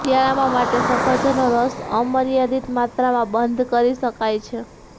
શિયાળામાં માટે સફરજનનો રસ અમર્યાદિત માત્રામાં બંધ કરી શકાય છે